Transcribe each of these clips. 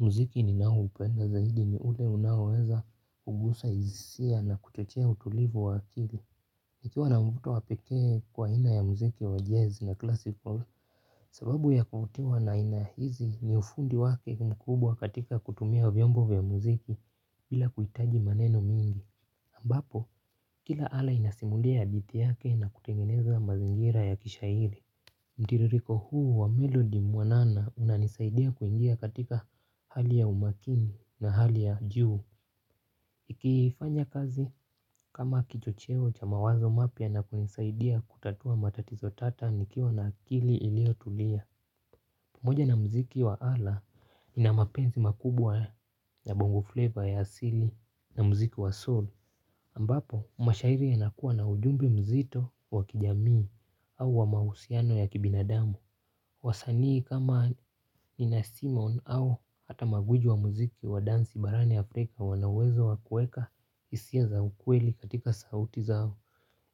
Muziki ninaoupenda zaidi ni ule unaweza kugusa hisia na kuchochea utulivu wa akili nikiwa na mvuto wa pekee kwa aina ya muziki wa Jazz na Classical. Sababu ya kuvutiwa na aina hizi ni ufundi wake mkubwa katika kutumia vyombo vya muziki bila kuhitaji maneno mingi ambapo kila ala inasimulia hadithi yake na kutengeneza mazingira ya kishairi. Mtiririko huu wa melodi mwanana unanisaidia kuingia katika hali ya umakini na hali ya juu. Ikifanya kazi kama kichocheo cha mawazo mapya na kunisaidia kutatua matatizo tata nikiwa na akili iliyotulia. Panoja na muziki wa ala nina mapenzi makubwa ya Bongo Flavor ya asili na muziki wa soul ambapo mashairi yanakuwa na ujumbe mzito wa kijamii au wa mahusiano ya kibinadamu. Wasanii kama Nina Simon au hata magijwi wa muziki wa dansi barani Afrika wana uwezo wa kuweka hisia za ukweli katika sauti zao.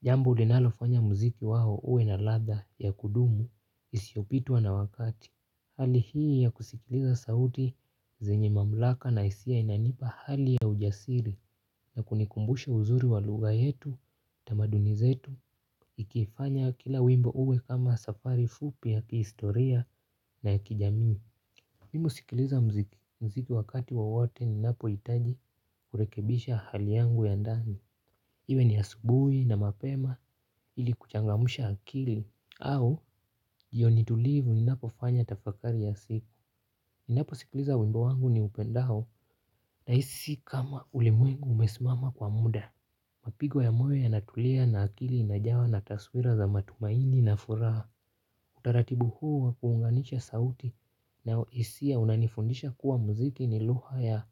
Jambo linalofanya muziki wao uwe na ladha ya kudumu isiyopitwa na wakati. Hali hii ya kusikiliza sauti zenye mamlaka na hisia inanipa hali ya ujasiri na kunikumbusha uzuri wa lugha yetu tamaduni zetu ikifanya kila wimbo uwe kama safari fupi ya kiistoria na ya kijamii. Mimu husikiliza muziki muziki wakati wowote ninapohitaji kurekebisha hali yangu ya ndani. Iwe ni asubuhi na mapema ili kuchangamusha akili au jioni tulivu ninapofanya tafakari ya siku. Ninaposikiliza wimbo wangu ni upendao nahisi kama ulimwengu umesimama kwa muda. Mapigo ya moyo yanatulia na akili inajawa na taswira za matumaini na furaha. Utaratibu huu wa kuunganisha sauti na hisia unanifundisha kuwa muziki ni lugha ya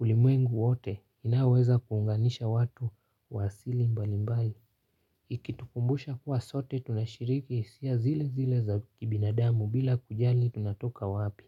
ulimwengu wote inaweza kuunganisha watu wa asili mbalimbali ikitukumbusha kuwa sote tunashiriki hisia zilezile za kibinadamu bila kujali tunatoka wapi.